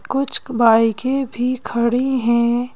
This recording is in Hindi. कुछ बाइकें भी खड़ी है।